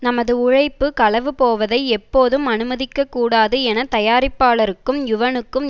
நமது உழைப்பு களவு போவதை எப்போதும் அனுமதிக்க கூடாது என தயாரிப்பாளருக்கும் யுவனுக்கும்